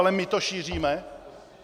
Ale my to šíříme?